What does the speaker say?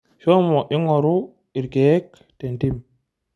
Shomo ing'oru irkeek tentim.